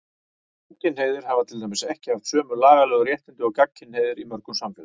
Samkynhneigðir hafa til dæmis ekki haft sömu lagalegu réttindi og gagnkynhneigðir í mörgum samfélögum.